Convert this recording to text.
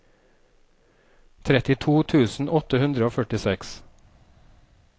trettito tusen åtte hundre og førtiseks